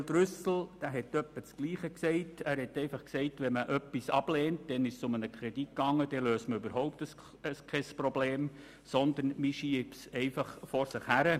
Daniel Trüssel sagte in etwa das Gleiche, nämlich, dass wenn etwas abgelehnt werde, überhaupt kein Problem gelöst werde, man schiebe es einfach vor sich her.